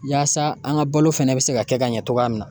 Yaasa an ka balo fɛnɛ bɛ se ka kɛ ka ɲɛ cogoya min na